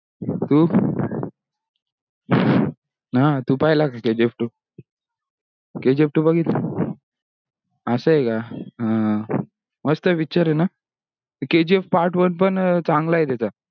हम्म हा तू पहिलं आहे का kgf two kgf two बघितला? असा हे का आह मस्त picture हे ना kgf part one पण चांगला हे त्याचा.